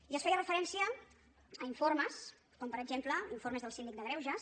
i es feia referència a informes com per exemple informes del síndic de greuges